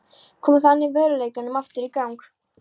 Kom þannig veruleikanum aftur í gang.